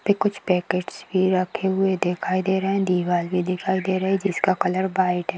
यहाँ पे कुछ पैकेटस भी रहे दिखाई दे रहे हैं दीवाल भी दिखाई दे रही है जिसका का कलर व्हाइट है।